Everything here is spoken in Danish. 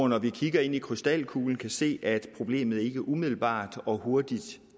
når vi kigger ind i krystalkuglen kan vi se at problemet ikke umiddelbart og hurtigt